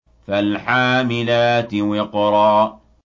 فَالْحَامِلَاتِ وِقْرًا